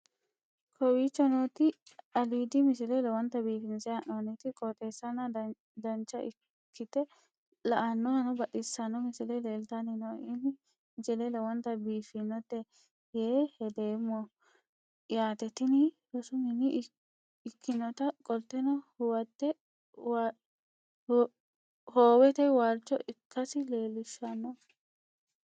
kowicho nooti aliidi misile lowonta biifinse haa'noonniti qooxeessano dancha ikkite la'annohano baxissanno misile leeltanni nooe ini misile lowonta biifffinnote yee hedeemmo yaate tini rosu mine ikkinota qolteno howete waalcho ikkasi lelishshanno